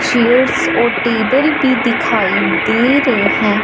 Chairs और table भी दिखाई दे रहे हैं।